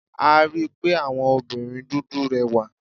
A rí pé àwọn obìnrin dúdú rẹwà.